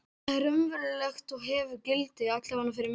Það er raunverulegt og hefur gildi, allavega fyrir mig.